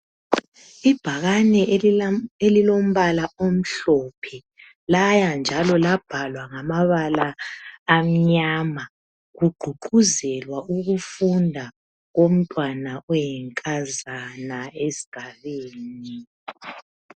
Ibhakani elilombala omhlophe laya njalo labhalwa ngamabala amnyama kugqugquzelwa ukufunda komntwana oyinkazana esigabeni.